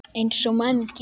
Eins og menn gera.